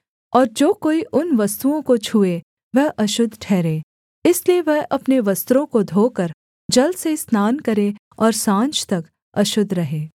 और जो कोई उन वस्तुओं को छूए वह अशुद्ध ठहरे इसलिए वह अपने वस्त्रों को धोकर जल से स्नान करे और साँझ तक अशुद्ध रहे